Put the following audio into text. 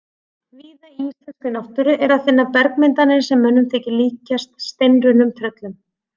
Víða í íslenskri náttúru er að finna bergmyndanir sem mönnum þykir líkjast steinrunnum tröllum.